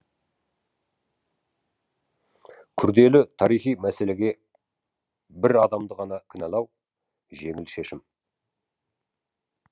күрделі тарихи мәселеге бір адамды ғана кінәлау жеңіл шешім